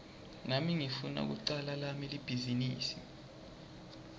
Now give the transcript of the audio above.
nami ngifuna kucala lami libhizinisi